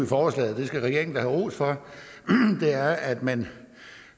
forslaget det skal regeringen have ros for er at man